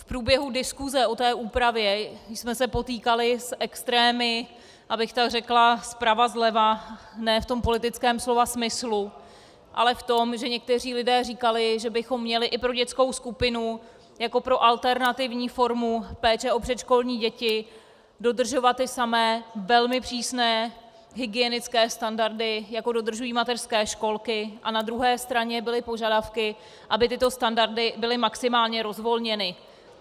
V průběhu diskuse o té úpravě jsme se potýkali s extrémy, abych tak řekla, zprava zleva, ne v tom politickém slova smyslu, ale v tom, že někteří lidé říkali, že bychom měli i pro dětskou skupinu jako pro alternativní formu péče o předškolní děti dodržovat ty samé, velmi přísné hygienické standardy, jaké dodržují mateřské školky, a na druhé straně byly požadavky, aby tyto standardy byly maximálně rozvolněny.